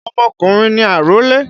Ọmọkùnrin ni àrólé.